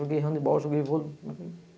Joguei handebol, joguei vôlei.